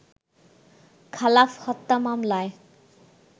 খালাফ হত্যা মামলায়